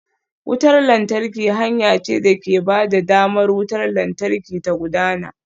Wutar lantarki hanya ce da ke ba da damar wutar lantarki ta gudana.